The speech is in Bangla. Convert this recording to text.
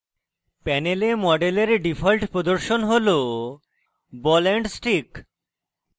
panel model ডিফল্ট প্রদর্শন ball ball and stick